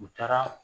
U taara